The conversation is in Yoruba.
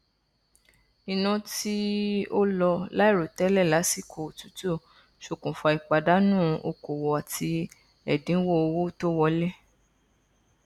iná tí ó lọ láìròtẹlẹ lásìkò òtútù ṣokùnfà ìpàdánù okòwò àti ẹdín owó tó wọlé